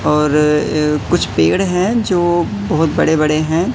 और कुछ पेड़ हैं जो बहोत बड़े बड़े हैं।